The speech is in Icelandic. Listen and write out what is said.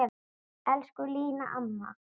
Elsku Lína amma.